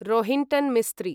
Rohinton Mistry